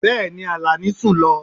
Bẹẹni, Alani sun lo